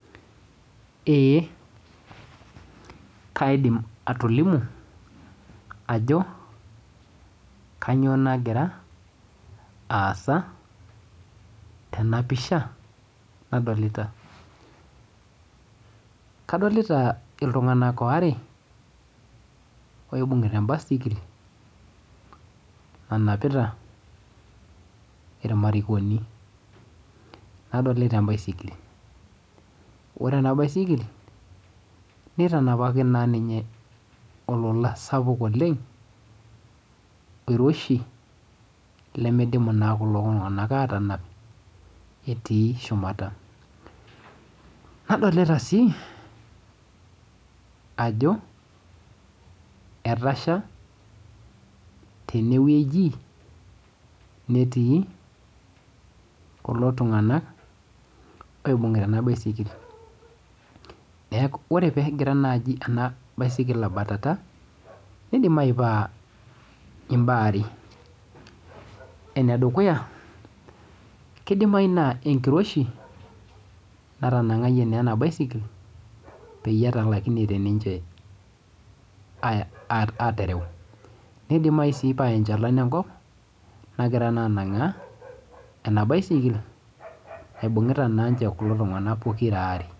Eeh kaidim atolimu ajo kanyioo nagira aasa tena pisha nadolita Kadolita iltung'anak waare oibung'ita ebaisikil nanapita irmarikoni nadolita ebaisikil ore ena baisikil nitanapaki naa ninye olola sapuk oleng iroshi lemeidimu naa kulo tung'anak aatanap etii shumata nadolita sii ajo etasha teneweji netii kulo tung'anak oo ena baisikil nee ore naajio pee egira ena baisikil abatata meidimayu paa imbaa are ene dukuya kidimayu naa enkiroishi natanang'ayie naa ena baisikil pee etalaikinote niche aatereu meidimayu sii paa enchalan enkop nagira naa nang'aa ene baisikil naibung'ita naa kulo tung'anak pokira aare